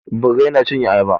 Birrai na cin ayaba.